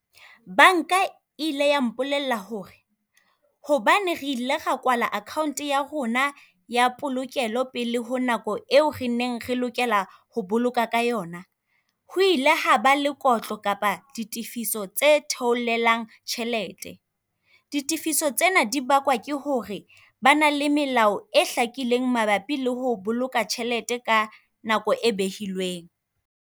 Banka ile ya mpolella hore hobane re ile ra kwala akhaonte ya rona ya polokelo pele ho nako eo re neng re lokela ho boloka ka yona, ho ile ha ba le kotlo kapa ditefiso tse theoleleng tjhelete. Ditefiso tsena di bakwa ke hore ba na le melao e hlakileng, mabapi le ho boloka tjhelete ka nako e behilweng.